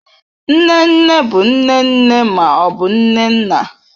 Nne nne bụ nne nne ma ọ bụ nne nna.